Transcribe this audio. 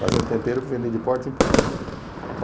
Fazendo tempero para vender de porta em porta.